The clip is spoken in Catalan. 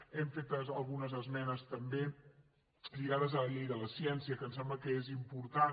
hem fet algunes esmenes també lligades a la llei de la ciència que em sembla que és important